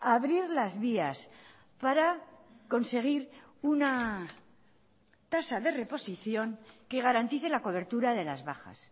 abrir las vías para conseguir una tasa de reposición que garantice la cobertura de las bajas